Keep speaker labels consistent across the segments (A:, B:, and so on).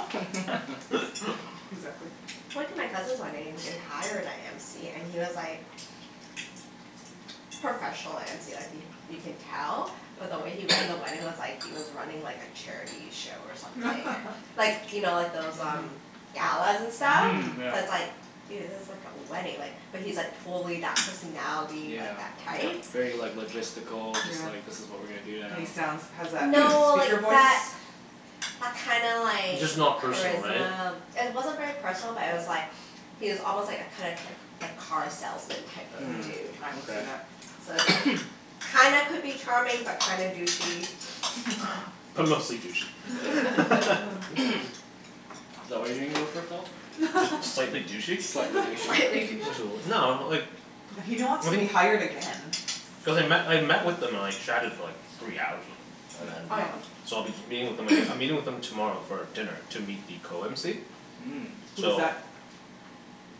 A: Exactly.
B: I went to my cousin's wedding and they hired a MC and he was like, professional MC like he, you can tell, but the way he ran the wedding was like he was running like a charity show or something Like, you know like those um, galas and stuff
A: Mhm
B: So it's
C: Yeah.
B: like, dude, this is like a wedding like, but he's like totally that personality,
C: Yeah.
B: like that type.
C: Very like logistical Just
A: Yeah.
C: like this is what we are gonna do
A: And he sounds,
C: now
A: has that
B: No, like
A: speaker voice?
B: that, that kinda like
D: Just not personal right?
B: Charisma. It wasn't very personal but it was like, he was almost like a kind of, type, like car salesman type of
C: Hm,
A: Mhm.
B: dude.
A: I can see
C: okay
A: that.
B: So it's like, kinda could be charming but kinda douchey.
D: But mostly douchey.
C: Is that what you're gonna go for, Phil?
D: Just slightly douchey.
C: Slightly douchey.
B: Slightly douchey
D: Just a little, no like
A: He don't wants to be hired again.
D: Cuz I met, I met with them and like chatted for like three hours with them, and
B: Oh
D: then
A: Wow
B: yeah?
D: so I'll be meeting with them aga- I'm meeting with them tomorrow for dinner to meet the co-mc.
C: Mm.
A: Who's
D: So
A: that?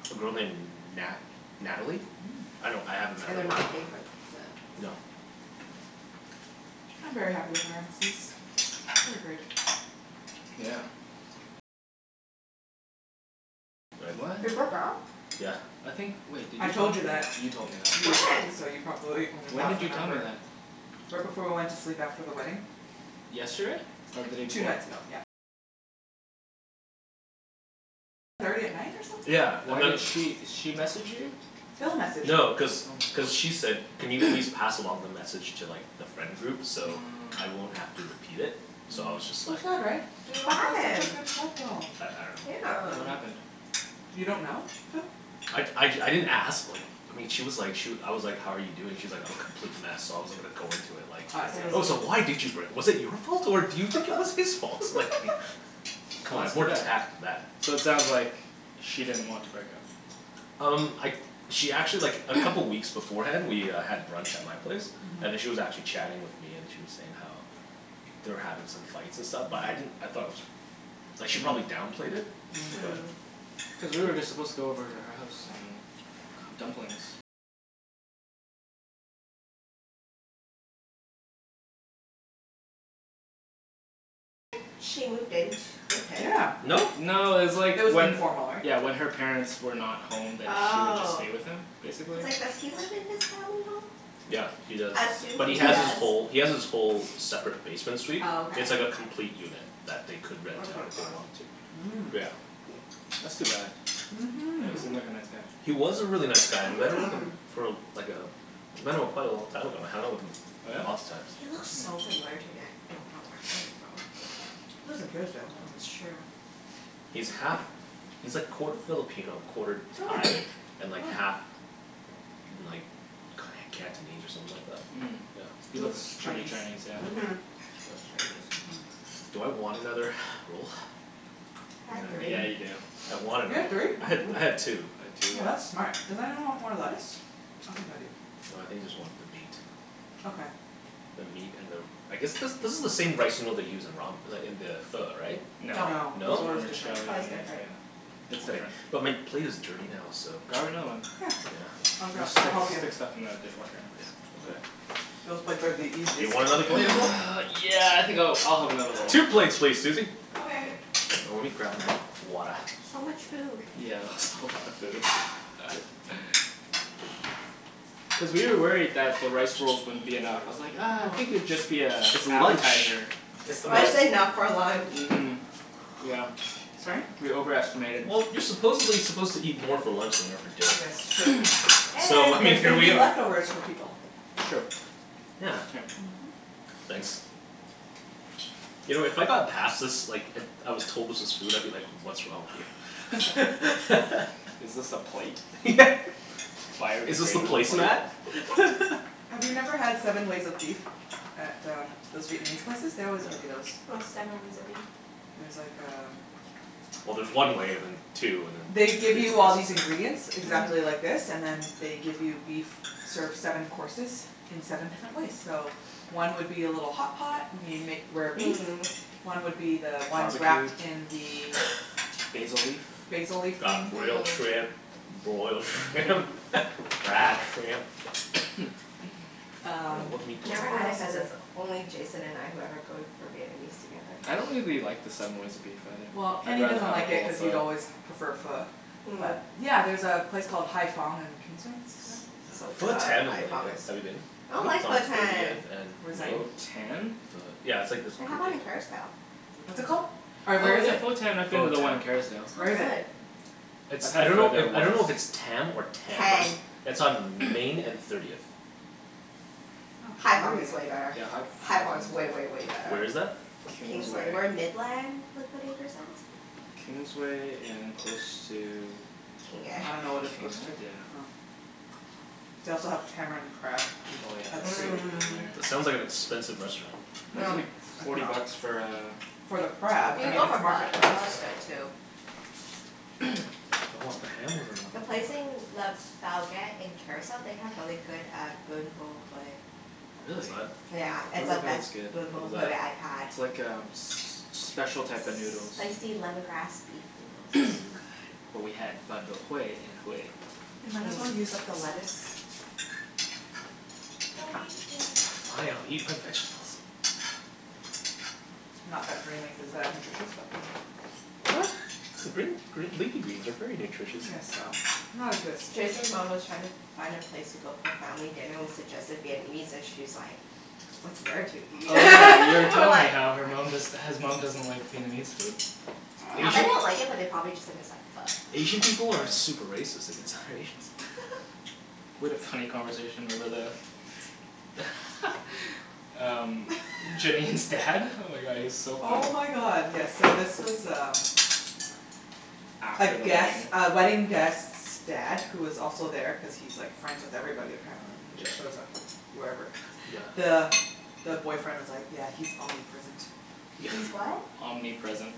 D: A girl named Nat- Natalie?
A: Mm.
D: I don't, I haven't met
B: And
D: her
B: they're not paying for the
D: No.
A: I'm very happy with our MC's. They are great.
C: Yeah. What?
B: They broke up?
C: I think wait, did
A: I
C: you tell
A: told
C: me
A: you
C: that?
A: that
C: You told me that.
A: You were drunk,
B: When?
A: so you probably only
C: When
A: half
C: did you tell me
A: remember
C: that?
A: Right before we went to sleep after the wedding.
C: Yesterday? Or the day
A: Two
C: before?
A: nights ago, yep.
D: Yeah, and
C: Why
D: then
C: did she, she message you?
A: Phil messaged
D: No,
A: me.
D: cuz cuz she said, "Can you please pass along the message to like the friend groups so I won't have to repeat it?" So I was just
A: So
D: like
A: sad right? They
B: What
A: looked like such a
B: happened?
A: good couple!
D: I I
C: Yeah,
B: Yeah.
D: dunno.
C: what happened?
A: You don't know, Phil?
D: I I d- I didn't ask like, I mean she was like she I was like, "how are you doing", she's like, "I'm a complete mess" so I wasn't gonna go into it like.
A: Oh I see I
D: Oh so
A: see.
D: why did you break, was it your fault or do you think it was his fault? Like, c'mon, I have more tact than
C: So it
D: that.
C: sounds like she didn't want to break up.
D: Um, I she actually like a couple weeks beforehand we uh had brunch at my place, and then she was actually chatting with me and she was saying how they were having some fights and stuff but I didn't, I thought it was, like she probably downplayed it.
A: Mm.
D: But.
C: Cuz we were just supposed to go over to her house and cook dumplings
A: Yeah.
D: No?
C: No, it's like
A: It was
C: when
A: informal right?
C: Yeah when her parents were not home then she would just
B: Oh.
C: stay with him, basically.
B: Cuz like, does he live in his family
D: Yeah,
B: home?
D: he does.
B: I assume
D: But
B: he
D: he has his
B: does.
D: whole, he has his whole separate basement suite.
B: Oh
D: It's like a
B: okay.
D: complete unit that they could rent out if they wanted to.
A: Mm.
D: But yeah.
C: That's too bad. Yeah, he
A: Mhm.
C: seemed like a nice guy.
D: He was a really nice guy and then like a for uh like uh I met him quite a long time ago. I hung out with him lots of times.
B: He looks so familiar to me I don't know where I him from.
A: He lives in Kerrisdale.
B: That's true.
D: He's half, he's like quarter Filipino, quarter Thai, and like half like Cantonese or something like that?
C: Mm. He
A: He
D: Yeah.
A: looks
C: looks pretty
A: Chinese
C: Chinese, yeah.
B: Mhm. He looks Chinese.
A: Mhm
D: Do I want another roll?
B: I had three.
C: Yeah, you do.
D: I want
A: You
D: another
A: had three?
D: one. I had, I had two.
C: I had two, yeah.
A: Oh that's smart. Does anyone want more lettuce? I think I do.
D: No, I think I just want the meat.
A: Okay.
D: The meat and the, I guess this this is the same rice noodle they use in ramen, like in the pho, right?
C: No.
A: No.
C: This is
D: No?
A: Pho is different.
C: vermicelli,
B: Pho is different.
C: yeah. It's
D: Okay,
C: different.
D: but my plate is dirty now so.
C: Grab another one.
A: Yeah. I'll
C: We
A: grab,
D: Yeah.
C: just
A: I'll
C: stick,
A: help you.
C: stick stuff in the dishwasher anyways.
A: Yeah,
D: Yeah, okay.
A: those plates are the
D: Do you
A: easiest to
D: want another
A: clean.
D: plate as well?
C: yeah I think I'll, I'll have another roll.
D: Two plates please, Susie.
A: Okay.
C: Oh lemme grab my, water.
B: So much food.
C: Yeah. That's a lot of food. Cuz we were worried that the rice rolls wouldn't be
D: Thanks very
C: enough. I
D: much.
C: was like ah
A: You
C: I
A: are
C: think
A: welcome.
C: it'd just be a
D: It's lunch!
C: appetizer.
D: It's the most
B: That's enough for lunch.
C: Mhm. Yeah.
A: Sorry?
C: We over estimated.
D: Well, you're supposedly suppose to eat more for lunch than you are for
A: Yes it's
D: dinner.
A: true.
D: So
A: And
D: I mean
A: there's going
D: here
A: to
D: we
A: be
D: are
A: leftovers for people
C: True.
D: Yeah. Thanks. You know if I got passed this like it, I was told this was food I'd be like, what's wrong with you.
C: Is this the plate?
D: Yeah. Is this the
C: Biodegradable plate?
D: placemat?
A: Have you never had seven ways of beef at uh, those Vietnamese places? They
D: No.
A: always give you those.
B: What's seven ways of beef?
A: It's like um
D: Well there's one way and then two and then
A: They give you all these ingredients exactly like this and then they give you beef, serve seven courses in seven different ways so one would be a little hotpot and you make rare beef.
B: Mm.
A: One would be the ones
C: Barbequed?
A: wrapped in the
C: Basil leaf?
A: Basil leaf
D: Got
A: thing
D: grilled shrimp, broiled shrimp fried shrimp I dunno,
A: Um.
D: what meat
B: I've
D: do I
B: never
D: want
A: What
B: had it
A: else
B: cuz
A: is there.
B: it's only Jason and I who ever go to, for Vietnamese together.
C: I don't really the, like the seven ways of beef either,
A: Well,
C: I'd
A: Kenny
C: rather
A: doesn't
C: have a
A: like it
C: bowl
A: cuz
C: of
A: he's always prefer
C: Pho.
A: Pho. But
B: Mm.
A: yeah, there's a place called Hai Phong on Kingsway
B: So
D: Pho
B: fun,
D: Tan is
B: Hai
D: really
B: Phong
D: good,
B: is
D: have you been?
B: I don't like
D: It's on
B: Pho Tan!
D: thirtieth
A: Where's
D: and?
A: that?
C: Pho Tan?
D: Pho- yeah, it's like this
B: They have one in Kerrisdale.
A: What's it called? Or where
C: Oh
A: is
C: yeah
A: it?
C: Pho Tan I've been to the one in
B: It's
C: Kerrisdale.
A: Where
B: not
A: is it?
B: good.
D: It's,
C: I
D: I
C: had Pho
D: dunno
C: there
D: if, I
C: once.
D: dunno if it's Tam or Tan.
B: Tan.
D: It's on Main and Thirtieth.
A: Oh
B: Hai Phong is
A: thirtieth.
B: way better.
C: Yeah, Hai Ph-
B: Hai
C: Hai
B: Phong
C: Phong
B: is way
C: is good
B: way way better.
D: Where is that?
C: Kingsway.
B: Kingsway. Where Midland Liquidators is.
C: Kingsway and close to
B: King Ed
A: I dunno what it's
C: King
A: close
C: Ed?
A: to.
C: Yeah.
A: Oh. They also have tamarind crab which
C: Oh yeah, it's
D: It
C: so
A: is.
B: Mm.
D: sounds like
C: good
D: an
C: there.
D: expensive restaurant.
A: Mm-
C: It's only
A: mm.
C: forty bucks for uh
A: For the crab. I
B: You can
A: mean
B: go
A: it's
B: for Pho.
A: market
B: The
A: price.
B: Pho is good too.
D: Do I want the ham or do I want
B: The
D: the pork.
B: place in Le Bouguette in Kerrisdale they have really good uh Ben Bo Hue.
D: What is
C: Really.
B: Yeah,
D: that?
B: it's
C: Ben Bo
B: the
C: Hue
B: best
C: is good.
B: Ben Bo Hue I've had.
C: It's like um s- special type of noodles.
B: Spicy lemongrass beef noodles. So good.
C: But we had Ben Bo Hue in Hue.
A: We might as well use up the lettuce. Don't eat it yet!
D: Fine, I'll eat my vegetables.
A: Not that green leaf is that nutritious but whatever
D: What? Green, green, leafy greens are very nutritious.
A: I guess so. Not as good as spinach.
B: Jason's mom was trying to find a place to go for family dinner, we suggested Vietnamese and she's like, "What's there to eat?"
C: Oh yeah you already
B: We're
C: told me
B: like
C: how her mom just, his mom doesn't like Vietnamese food.
B: I bet they don't like it but they probably just think it's like
D: Asian
B: Pho.
D: people are super racist against other Asians.
C: We had a funny conversation over the. Um, Janine's dad. Oh my god, he was so funny
A: Oh my god yes so this was um A
C: After the
A: guest,
C: wedding.
A: a wedding guest's dad who was also there cuz he's like friends with everybody apparently. He just shows up wherever.
C: Yeah.
A: The the boyfriend was like, "Yeah he's omnipresent."
B: He's what?
C: Omnipresent.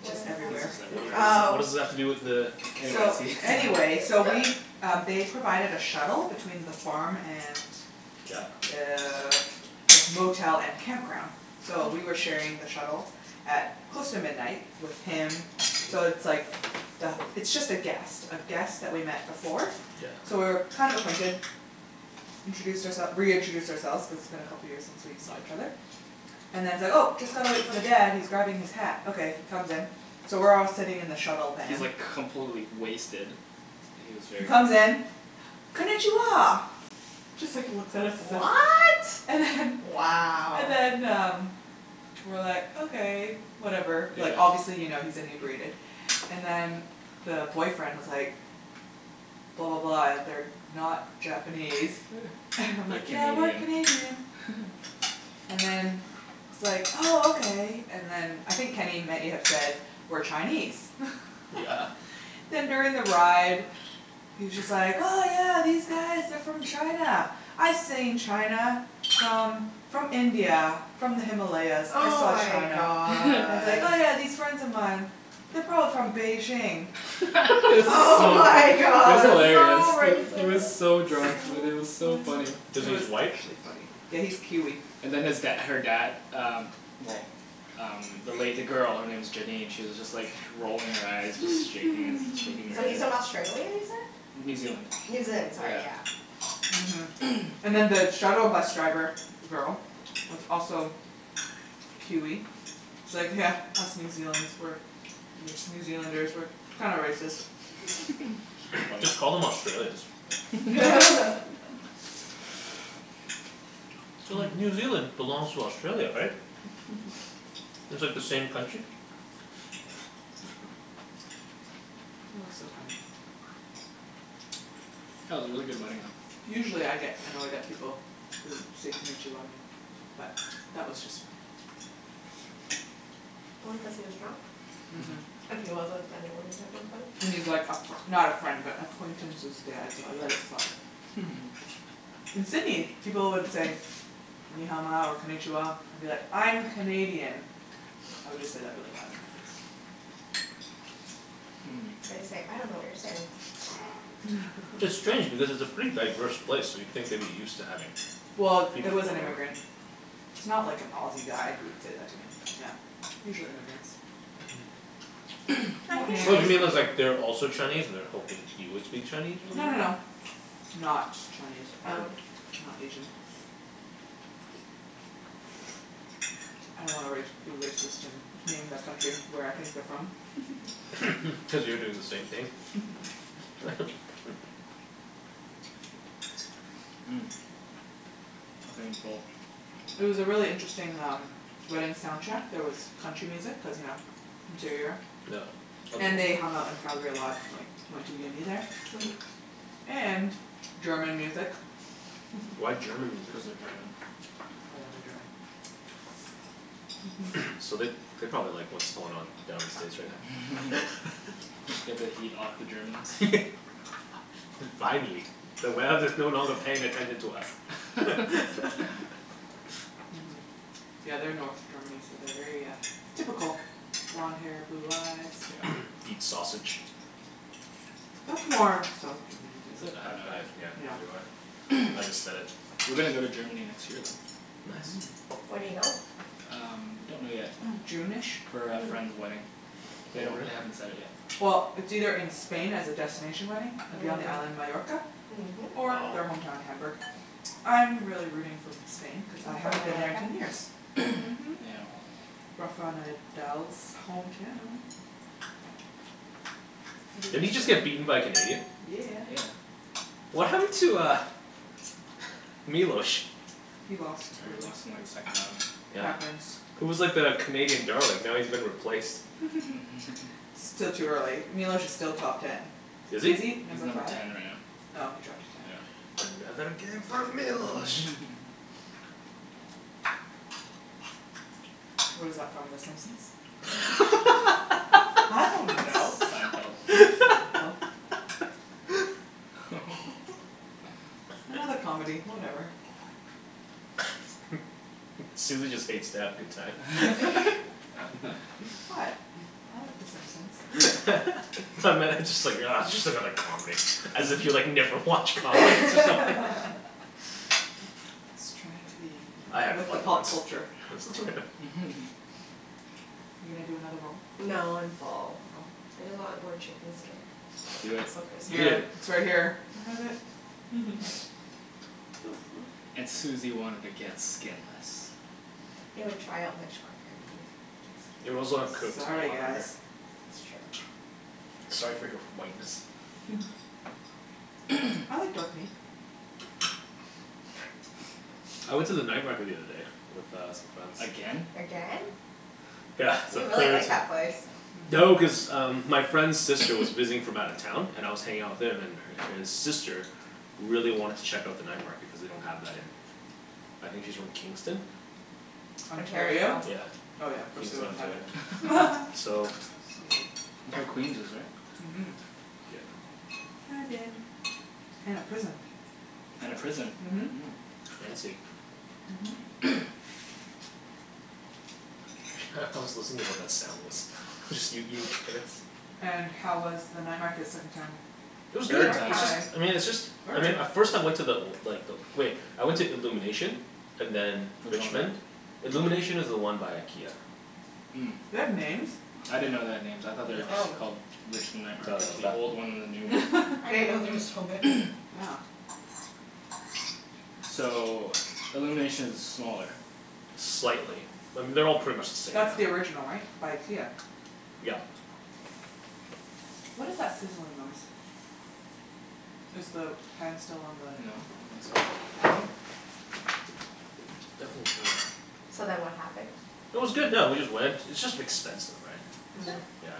B: What
A: Just
B: is that?
A: everywhere.
D: What does, what does that,
B: Oh.
D: what does that have to do with the
C: Anyways
A: So,
C: he
A: anyways so we um they provided a shuttle between the farm and
D: Yeah.
A: Uh the motel and campground so we were sharing the shuttle at close to midnight with him. So it's like the, it's just a guest, a guest that we've met before. So
C: Yeah.
A: we were kind of acquainted. We introduced our- reintroduced ourselves cuz it's been a couple of years since we saw each other. And then he's like, "Oh just gotta wait for the dad, he's grabbing his hat", okay he comes in. So we're all sitting in the shuttle
C: He's
A: van.
C: like completely wasted. Like he was
A: He
C: very drunk.
A: comes in, "Konichiwa!" Just like looks at us and-
B: What?!
A: And then
B: Wow.
A: And then um, we were like, okay, whatever, like obviously you know he's inebriated, and then the boyfriend was like, "Blah blah blah they're not Japanese." And I'm
C: We're
A: like, "Yeah we're
C: Canadian.
A: Canadian." And then he's like oh okay. And then I think Kenny may have said we're Chinese
C: Yeah.
A: Then during the ride, he's just like, "Oh yeah these guys are from China, I've seen China from from India, from the Himalayas." I
B: Oh
A: saw
B: my
A: China.
B: god.
A: And he's like, "Yeah yeah, these friends of mine, they're probably from Beijing."
C: It was
B: Oh
C: so funny.
B: my
C: It was
B: god.
C: hilarious.
B: So
C: He was
B: racist!
C: so drunk, Wenny, it was so funny.
D: Does
A: It
D: he, he's
A: was
D: white?
A: actually funny. Yeah he's Kiwi.
C: And then his dad her dad um well um the lady, the girl, her name is Janine, she was just like rolling her eyes just shaking his, shaking her
B: So he's
C: head
B: from Australia,
C: New
B: you said?
C: Zealand.
B: New Zealand, sorry yeah.
A: Mhm. And then the shuttle bus driver girl was also Kiwi. She's like, "Yeah, us New Zealand's, we're, New Zealanders we're, we're kinda racist."
D: Just call them Australians. So like New Zealand belongs to Australia, right? It's like the same country?
A: That was so funny.
C: That was a really good wedding though.
A: Usually I get annoyed at people who say Konichiwa to me, but that was just funny.
B: Probably cuz he was drunk.
A: Mhm. And he was like a fr- not a friend but acquaintance's dad so I let it slide. In Sydney, people would say "Ni Hao Ma" or "Konichiwa" and I'll be like, "I'm Canadian." I would just say that really loud in their face.
B: Or you say, "I dunno what you're saying."
D: It's strange because it's a pretty diverse place so you'd think they'd be used to having
A: Well, it was an immigrant. It's not like an Aussie guy who would said that to me. Yeah. Usually immigrants.
C: Mhm.
D: Oh you mean cuz like they're also Chinese and they were hoping you would speak Chinese or
A: No no
D: something?
A: no. Not Chinese, um,
B: Oh.
A: not Asian. I don't wanna race, be racist and name that country, where I think they're from.
D: Cuz you're doing the same thing.
C: Mm. I think I'm full.
A: It was a really interesting um, wedding soundtrack, there was country music cuz you know, interior.
D: Yeah.
A: And they hung out in Calgary a lot like, they went to uni there.
B: Mhm.
A: And German music.
D: Why German music?
C: Cuz they're German.
A: Oh yeah they are German.
D: So they, they probably like what's going on down in States right now.
C: Get the heat off the Germans?
D: Fi- yeah, finally. The world is no longer paying attention to us.
A: Mhm, yeah they are North Germany so they are very uh, typical, blonde hair blue eyes.
C: Yeah.
D: Eat sausage.
A: That's more South Germany I
C: Is
A: think.
C: it? I have no
D: Yeah,
C: idea.
A: Yeah
D: neither do I. I just said it.
C: We're gonna go to Germany next year though.
D: Nice.
B: When do you go?
C: Um, we don't know yet.
A: june-ish?
C: For a friend's wedding. They don't, they haven't set it yet.
A: Well, it's either in Spain as a destination wedding, it'd be on the island Majorca Or
D: Wow.
A: their homeown their Hamburg. I am really rooting for Spain cuz I haven't been there in ten years. Mhm.
C: Yeah.
A: Rafael Nadal's hometown.
D: Didn't he just get beaten by a Canadian?
A: Yeah.
C: Yeah.
D: What happened to uh, Milos?
A: He lost,
C: Yeah, he
A: early.
C: lost in like his second round.
A: It
D: Yeah,
A: happens
D: he was like the Canadian darling. Now he's been replaced.
A: Still too early, Milos is still top ten.
D: Is
A: Is
D: he?
A: he
C: He's
A: number
C: number
A: five?
C: ten right now.
A: Oh, he dropped to ten.
C: Yeah.
D: Another game for Milos!
C: Mhm
A: Where's that from, the Simpsons? I dunno!
C: Seinfeld.
A: Seinfield? Another comedy, whatever.
D: Susie just hates to have a good time.
A: What, I like the Simpsons.
D: I meant, just like ugh just another comedy, as if you like, never watch comedies or something.
A: I was trying to be you know,
D: I had
A: with the
D: fun
A: pop
D: once.
A: culture. Are you gonna do another roll?
B: No, I'm full.
A: You're full?
B: I just want more chicken skin.
C: Do it.
B: It's so crispy.
D: Eat
A: Here,
D: it.
A: it's right here. I have it!
C: And Susie wanted to get skinless.
B: It would dry out much quicker.
D: It would
B: get
D: also have
B: skin.
D: cooked a
A: Sorry
D: lot quicker.
A: guys.
B: That's true.
D: Sorry for your whiteness?
A: I like dark meat.
D: I went to the night market the other day with uh some friends.
C: Again?
B: Again?
D: Yeah, for
B: You
D: the
B: really
D: third
B: like
D: ti-
B: that place.
D: No, cuz um my friend's sister was visiting from out of town and I was hanging out with him and her, his sister really wanted to check out the night market cuz they don't have that in, I think she's from Kingston?
A: Ontario?
B: Ontario?
A: Oh
D: Yeah,
A: yeah, of course they
D: Kingston
A: wouldn't have it.
D: Ontario. So.
A: So
C: That's
A: white.
C: where Queens is right?
A: Mhm.
D: Yep.
A: I've been. And a prison.
C: And a prison.
A: Mhm.
D: Fancy.
A: Mhm.
D: Hah, I was listening to what that sound was. It was just you eating carrots.
A: And how was the night market second time?
D: It was good!
C: Third
B: Third
C: time!
D: It's just,
B: time!
D: I mean it's just I mean,
A: Third?
D: at first I went to the old, like the old wait, I went to Illumination and then,
C: Which one is that?
D: Richmond. Illumination is the one by IKEA.
C: Mm.
A: They have names?
C: I didn't know they had names, I thought they were just called Richmond Night Market, the old one and the new one.
B: I didn't know there was so many.
A: Yeah.
C: So, Illuminations is smaller
D: Slightly. I mean, they're all pretty much the same now.
A: That's the original right? By IKEA.
D: Yep.
A: What is that sizzling noise? Is the pan still on the
C: No, I don't think so.
B: So then what happened?
D: It was good yeah, we just went, it's just expensive right.
A: Is it?
D: Yeah.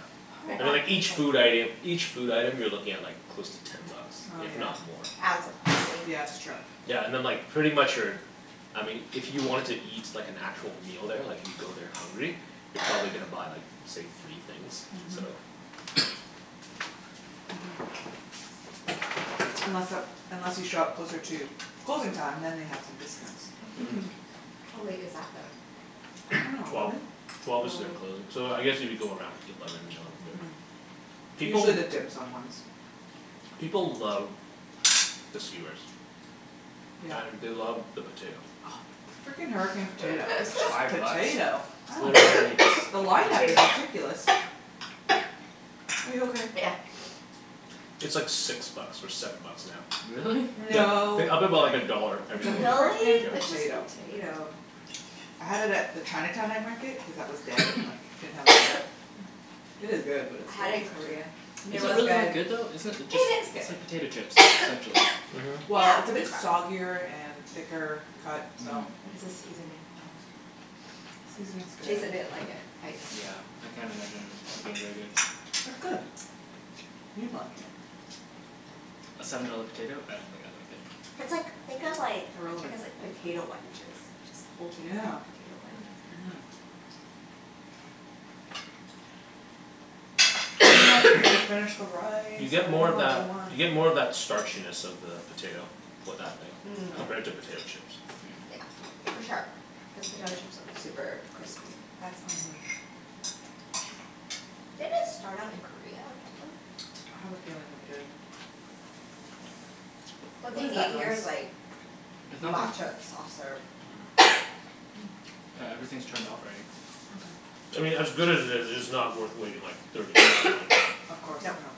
D: And then like each food item, each food item you're looking at like close to ten bucks,
A: Oh
D: if
A: yeah
D: not more.
B: It adds up quickly.
A: Yeah that's true.
D: Yeah, and then like pretty much your, I mean if you wanted to eat like an actual meal there like if you go there hungry, you're probably gonna buy like, say, three things, so.
A: Mhm. Mhm. Unless uh unless you show up closer to closing time then they have some discounts.
B: How late is that
A: I
B: though?
A: dunno,
D: Twelve.
A: eleven?
D: Twelve is their closing, so I guess if you go around eleven, eleven thirty. People
A: Usually the dim sum ones.
D: People love the skewers.
A: Yeah.
D: And they love the potato.
A: Oh, the freakin hurricane potato It's
C: It's
A: just
C: five bucks.
A: potato, I
C: It's
A: don't get
C: literally
A: it.
C: just
A: The
C: a
A: line up is
C: potato.
A: ridiculous. Are you okay?
B: Yeah.
D: It's like six bucks or seven bucks now.
C: Really?
D: They
A: No.
D: they up it about a dollar every
A: It's a
D: single year.
B: Really?
A: freakin
B: It's just
A: potato.
B: potato.
A: I had it at the Chinatown night market cuz that was dead and like, didn't have a line up. It is good but it's
B: I
A: still
B: had it in
A: just potato.
B: Korea. It
C: Is it
B: was
C: really that
B: good.
C: good though? Isn't it, it just, it's like
B: It is good.
C: potato chips, essentially
D: Mhm.
A: Well, it's a bit soggier and thicker cut
C: Mm.
A: so.
B: It's the seasoning.
A: Seasoning's good.
B: Jason didn't like it
C: Yeah, I can't imagine it being really good.
A: It's good. You'd like it.
C: A seven dollar potato, I don't think
B: It's
C: I'd like it.
B: like, think of like, I guess like potato wedges, just the whole thing is like
A: Yeah,
B: potato wedge.
A: mhm. We need more chicken to finish the rice,
D: You get
A: and I
D: more
A: don't
D: of
A: want a
D: that,
A: whole one.
D: you get more of that starchiness of the potato with that thing.
B: Mhm.
D: Compared to potato
A: Really?
D: chips.
B: Yeah, for sure. Cuz potato chips are super crispy. That's not.
A: Mhm.
B: Did it start out in Korea or something?
A: I have a feeling it did.
B: What
A: What
B: they
A: is
B: need
A: that
B: here is
A: noise?
B: like
C: It's nothing.
B: matcha soft serve.
C: Yeah, everything's turned off already.
D: I
A: Okay.
D: mean as good as it is, it's not worth waiting like thirty minutes in line for.
A: Of course, yeah.